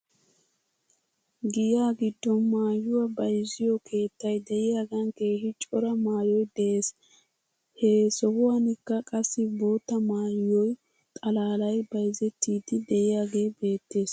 Giya giddon maayuwaa bayzziyoo keettay de'iyaagan keehi cora maayoy de'es. He sohuwankka qassi bootta maayo xallalay bayizettiddi de'iyaagee beettes .